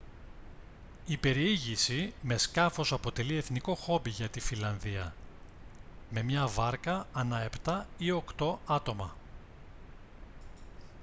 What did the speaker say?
η περιήγηση με σκάφος αποτελεί εθνικό χόμπι για τη φινλανδία με μία βάρκα ανά επτά ή οκτώ άτομα